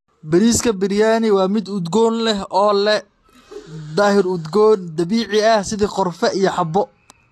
Bariiska biriyaani waa mid udgoon leh oo leh dhir udgoon dabiici ah sida qorfe iyo xabo.